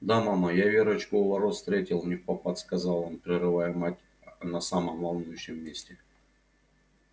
да мама я верочку у ворот встретил невпопад сказал он прерывая мать на самом волнующем месте